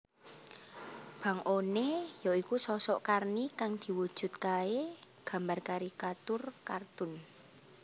Bang One ya iku sosok Karni kang diwujudkae gambar karikatur kartun